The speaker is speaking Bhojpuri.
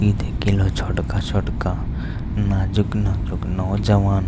ई देख ल छोटका-छोटका नाज़ुक-नाज़ुक नौजवान --